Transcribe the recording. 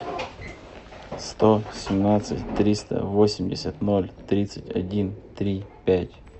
сто семнадцать триста восемьдесят ноль тридцать один три пять